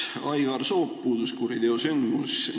Aivar Soop – puudus kuriteosündmus.